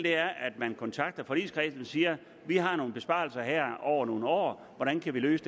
er at man kontakter forligskredsen og siger vi har nogle besparelser her over nogle år hvordan kan vi løse